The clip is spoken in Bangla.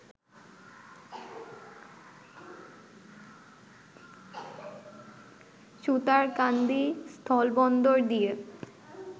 সুতারকান্দি স্থলবন্দর দিয়ে